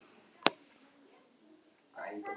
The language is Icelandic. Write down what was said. Glóbjört, spilaðu lagið „Gaukur í klukku“.